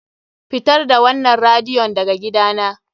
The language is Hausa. Fitar da wannan radiyon daga gidana!